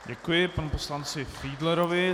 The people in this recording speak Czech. Děkuji panu poslanci Fiedlerovi.